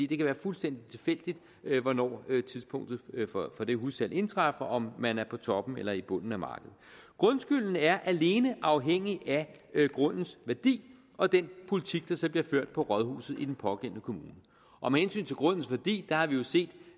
kan være fuldstændig tilfældigt hvornår tidspunktet for det hussalg indtræffer altså om man er på toppen eller i bunden af markedet grundskylden er alene afhængig af grundens værdi og den politik der så bliver ført på rådhuset i den pågældende kommune og med hensyn til grundens værdi har vi jo set